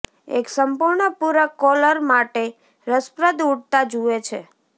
એક સંપૂર્ણ પૂરક કોલર માટે રસપ્રદ ઉડતા જુએ છે